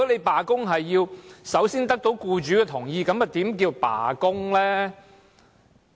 罷工要首先得到僱主同意，又怎稱得上是罷工呢？